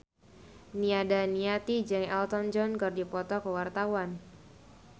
Nia Daniati jeung Elton John keur dipoto ku wartawan